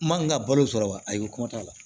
N man n ka balo sɔrɔ wa ayiwa t'a la